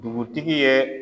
Dugutigi ye